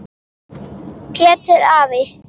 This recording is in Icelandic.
Pétur afi.